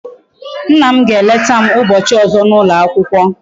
Nna m ga eleta m ubochi ozo na ulo akwukwo